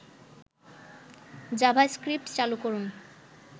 JavaScript চালু করুন